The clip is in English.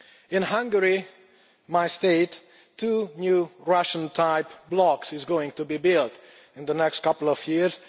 In Hungary, my state, two new Russian-type blocks are going to be built in the next couple of years.